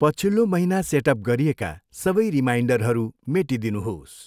पछिल्लो महिना सेटअप गरिएका सबै रिमाइन्डरहरू मेटिदिनुहोस्।